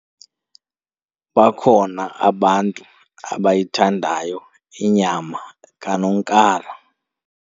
Bakhona abantu abayithandayo inyama kanonkala.